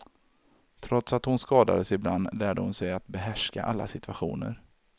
Trots att hon skadades ibland, lärde hon sig att behärska alla situationer.